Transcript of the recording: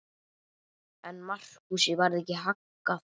En Markúsi varð ekki haggað.